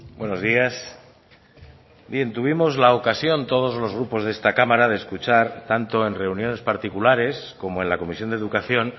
buenos días bien tuvimos la ocasión todos los grupos de esta cámara de escuchar tanto en reuniones particulares como en la comisión de educación